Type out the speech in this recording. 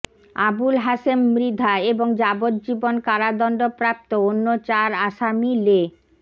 আবুল হাসেম মৃধা এবং যাবজ্জীবন কারাদণ্ডপ্রাপ্ত অন্য চার আসামি লে